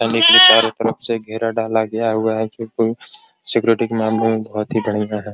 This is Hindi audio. चारों तरफ से घेरा डाला गया है सिक्योरिटी मामलों में बहुत ही बढ़िया है।